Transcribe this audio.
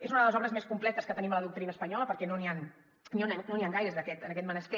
és una de les obres més completes que tenim a la doctrina espanyola perquè no n’hi han gaires en aquest menester